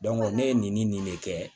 ne ye nin de kɛ